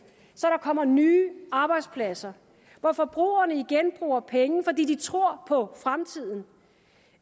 så der kommer nye arbejdspladser hvor forbrugerne igen bruger penge fordi de tror på fremtiden